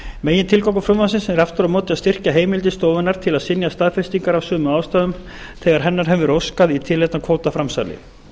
megintilgangur frumvarpsins er aftur á móti að styrkja heimildir stofunnar til að synja staðfestingar af sömu ástæðum þegar hennar hefur verið óskað í tilefni af kvótaframsali verður